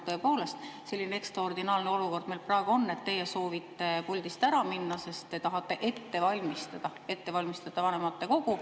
Tõepoolest, selline ekstraordinaarne olukord meil praegu on, et teie soovite puldist ära minna, sest te tahate ette valmistada vanematekogu.